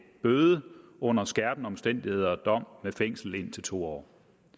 bøde under skærpende omstændigheder dog med fængsel indtil to år